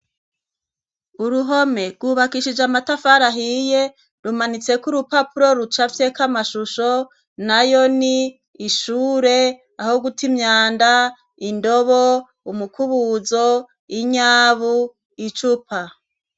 Uruhome rwubakishije amatafara ahiye .Rumanitse k'urupapuro rucafye k'amashusho na yo ni ishure aho guta imyanda ,indobo, umukubuzo, inyabu ,icupa.